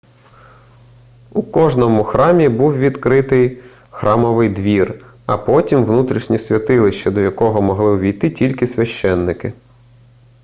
у кожному храмі був відкритий храмовий двір а потім внутрішнє святилище до якого могли увійти тільки священники